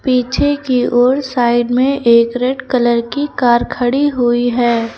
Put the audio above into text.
पीछे की ओर साइड में एक रेड कलर की कार खड़ी हुई है।